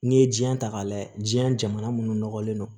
N'i ye diɲɛn ta k'a lajɛ jiɲɛ jamana minnu nɔgɔlen don